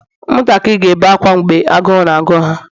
ụmụntakịrị ga-ebe akwa mgbe agụụ na-agụ ha